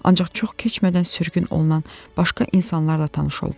Ancaq çox keçmədən sürgün olunan başqa insanlarla tanış oldum.